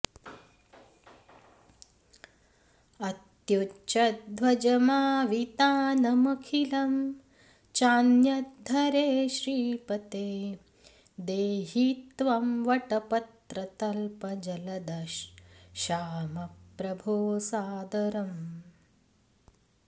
अत्युच्चध्वजमावितानमखिलं चान्यद्धरे श्रीपते देहि त्वं वटपत्रतल्प जलदश्याम प्रभो सादरम्